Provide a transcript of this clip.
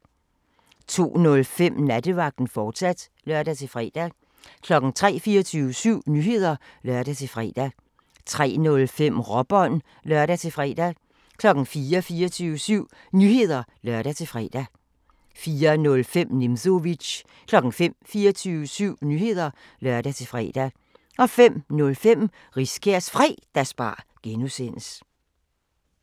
02:05: Nattevagten, fortsat (lør-fre) 03:00: 24syv Nyheder (lør-fre) 03:05: Råbånd (lør-fre) 04:00: 24syv Nyheder (lør-fre) 04:05: Nimzowitsch 05:00: 24syv Nyheder (lør-fre) 05:05: Riskærs Fredagsbar (G)